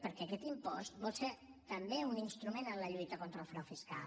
perquè aquest impost vol ser també un instrument en la lluita contra el frau fiscal